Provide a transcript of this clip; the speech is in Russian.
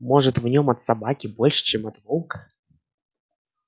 может в нём от собаки больше чем от волка